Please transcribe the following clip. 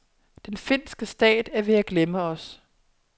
Den finske stat er ved at glemme os.